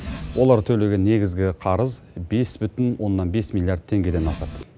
олар төлеген негізгі қарыз бес бүтін оннан бес миллиард теңгеден асады